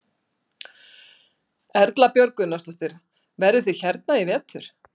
Erla Björg Gunnarsdóttir: Verðið þið hérna í vetur?